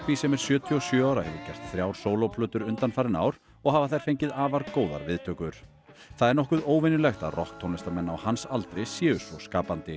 sem er sjötíu og sjö ára hefur gert þrjár undanfarin ár og hafa þær fengið afar góðar viðtökur það er nokkuð óvenjulegt að rokktónlistarmenn á hans aldri séu svo skapandi